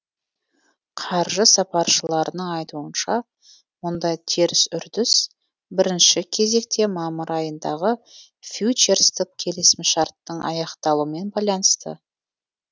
қаржы сапаршыларының айтуынша мұндай теріс үрдіс бірінші кезекте мамыр айындағы фьючерстік келісімшарттың аяқталуымен байланысты